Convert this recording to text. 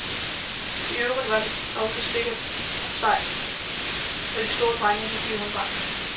I øvrigt var den også sikker og sej, når nogle store drenge ville give ham bank.